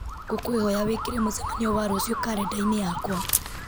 ngũkwĩhoya wĩkĩre mũcemanio wa rũciũ karenda-inĩ yakwa